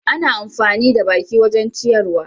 Ana amfani da baki wajen ciyarwa.